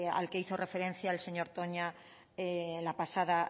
al que hizo referencia el señor toña la pasada